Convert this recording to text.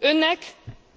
Önnek